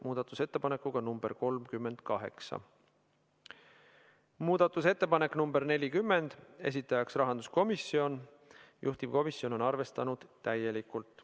Muudatusettepanek nr 40, esitajaks on rahanduskomisjon, juhtivkomisjon on arvestanud seda täielikult.